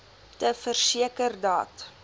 te verseker dat